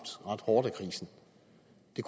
de